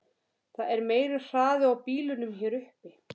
Það er meiri hraði á bílunum hér uppi.